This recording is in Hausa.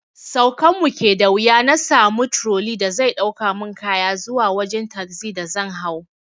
Saukan mu ke da wuya na sami turoli da zai ɗaukan mu kaya zuwa wajen tasi da zan hau